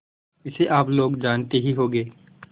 इसे आप लोग जानते ही होंगे